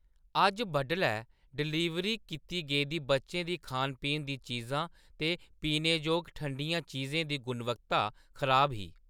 अज्ज बड्डलै डिलीवरी कीती गेदी बच्चें दी खान-पीन दी चीजां ते पीने जोग ठंडियां चीजें दी गुणवत्ता खराब ही।